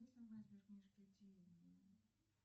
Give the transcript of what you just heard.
операции по моим счетам